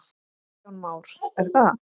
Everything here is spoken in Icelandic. Kristján Már: Er það?